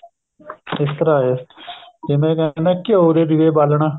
ਇਸ ਤਰ੍ਹਾਂ ਹੈ ਜਿਵੇਂ ਕਹਿੰਦੇ ਘਿਓ ਦੇ ਦੀਵੇ ਬਾਲਣਾ